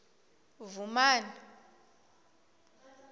vhumani